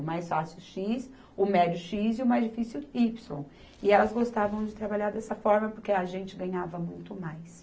O mais fácil, xis. O médio, xis. E o mais difícil, ípsilo. E elas gostavam de trabalhar dessa forma, porque a gente ganhava muito mais.